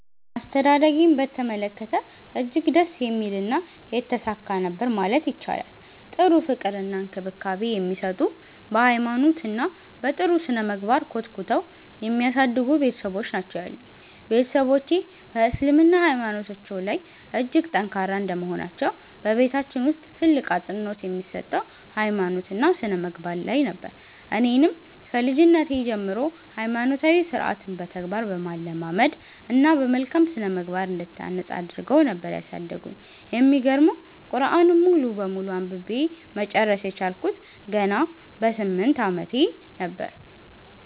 አስተዳደጌን በተመለከተ እጅግ ደስ የሚልና የተሳካ ነበር ማለት ይቻላል። ጥሩ ፍቅር እና እንክብካቤ የሚሰጡ፤ በ ሃይማኖት እና በ ጥሩ ስነምግባር ኮትኩተው የሚያሳድጉ ቤትሰቦች ናቸው ያሉኝ። ቤትሰቦቼ በ እስልምና ሃይማኖታቸው ላይ እጅግ ጠንካራ እንደመሆናቸው በቤታችን ውስጥ ትልቅ አፅንኦት የሚሰጠው ሃይማኖት እና ስነምግባር ላይ ነበር። እኔንም ከልጅነቴ ጀምሮ ሃይማኖታዊ ስርዓትን በተግባር በማለማመድ እና በመልካም ስነምግባር እንድታነፅ አድረገው ነበር ያሳደጉኝ። የሚገርመው ቁርዐንን ሙሉ በሙሉ አንብቤ መጨረስ የቻልኩት ገና በ 8 አመቴ ነበር።